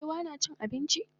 shin barewa nacin abinci?